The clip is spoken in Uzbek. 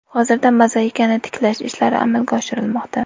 Hozirda mozaikani tiklash ishlari amalga oshirilmoqda.